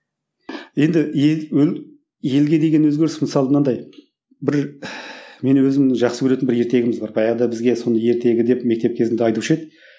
енді елге деген өзгеріс мысалы мынандай бір менің өзімнің жақсы көретін бір ертегіміз бар баяғыда бізге соны ертегі деп мектеп кезінде айтушы еді